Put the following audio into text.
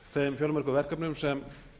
þeim fjölmörgu verkefnum sem